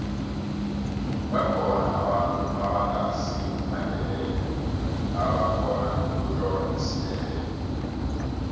bakhona abantu ebangasimandebele ebakhona ukutlola isindebele